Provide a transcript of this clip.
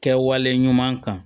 Kɛwale ɲuman kan